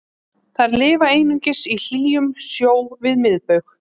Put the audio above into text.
þær lifa einungis í hlýjum sjó við miðbaug